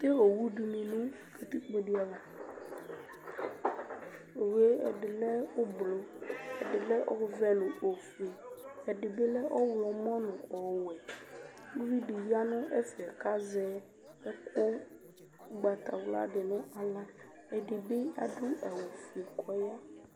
Atɛ owu dɩnɩ nʋ katikpo dɩ ava Owu yɛ ɛdɩ lɛ oblo, ɛdɩ lɛ ɔvɛ nʋ ofue Ɛdɩ bɩ lɛ ɔɣlɔmɔ nʋ ɔwɛ Uvi dɩ ya nʋ ɛfɛ kʋ azɛ ɛkʋ ʋgbatawla dɩ nʋ aɣla Ɛdɩ bɩ adʋ awʋfue kʋ ɔya